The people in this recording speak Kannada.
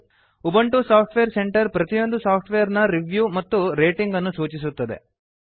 ಉಬಂಟು ಸಾಫ್ಟ್ವೇರ್ ಸೆಂಟರ್ ಪ್ರತಿಯೊಂದು ಸಾಫ್ಟ್ವೇರ್ ನ ರಿವ್ಯೂ ಮತ್ತು ರೇಟಿಂಗ್ ಅನ್ನು ಸೂಚಿಸುತ್ತದೆ